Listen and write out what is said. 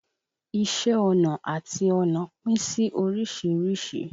Iṣé ọnà àti ọnà pín sí oríṣìíríṣìí.